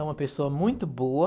É uma pessoa muito boa.